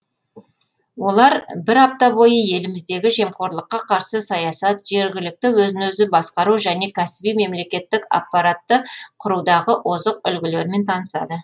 олар бір апта бойы еліміздегі жемқорлыққа қарсы саясат жергілікті өзін өзі басқару және кәсіби мемлекеттік аппаратты құрудағы озық үлгілермен танысады